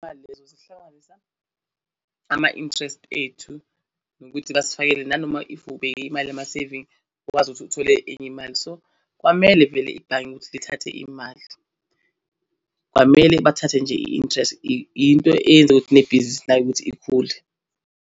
Lezo zihlanganisa ama-interest ethu nokuthi basifakele nanoma if ubeke imali ama-saving ukwazi ukuthi uthole enye imali. So, kwamele vele ibhange ukuthi lithathe imali, kwamele bathathe nje i-interest into eyenza ukuthi le bhizi layo ukuthi ikhule.